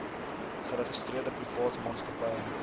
geregistreerde privaat maatskappye